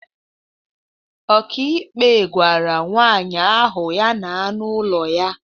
Ọkàikpe gwara nwaanyị ahụ ya na n'ụlọ ya